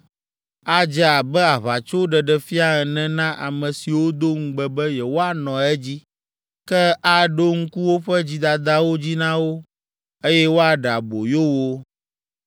Adze abe aʋatsoɖeɖefia ene na ame siwo do ŋugbe be yewoanɔ edzi, ke aɖo ŋku woƒe dzidadawo dzi na wo, eye woaɖe aboyo wo.